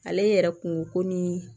Ale yɛrɛ kun ko ni